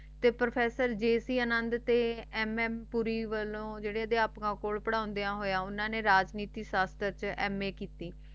ਤੇ ਪ੍ਰੋਫੈਸਰ ਜਛ ਤੇ ਮਮ ਵੱਲੋ ਜ਼ੀਰੇ ਪੜ੍ਹਾਂਦੇ ਸੀ ਰਾਜਨੀਤੀ ਸ਼ਾਸ਼ਨਰ ਤੋਂ ਮੈ ਕਿੱਤੀ